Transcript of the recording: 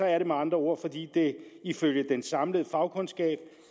er det med andre ord fordi det ifølge den samlede fagkundskab